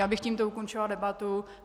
Já bych tímto ukončila debatu.